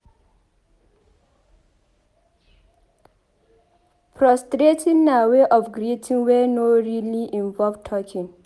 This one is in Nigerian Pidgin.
Prostrating na wey of greeting wey no really involve talking